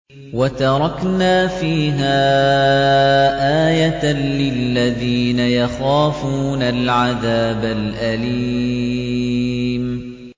وَتَرَكْنَا فِيهَا آيَةً لِّلَّذِينَ يَخَافُونَ الْعَذَابَ الْأَلِيمَ